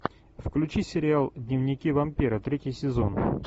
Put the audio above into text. включи сериал дневники вампира третий сезон